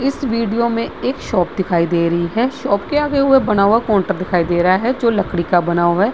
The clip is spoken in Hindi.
इस वीडियो में एक शॉप दिखाई दे रही है। शॉप के आगे हुए बना हुआ काउंटर दिखाई दे रहा है जो लकड़ी का बना हुआ है।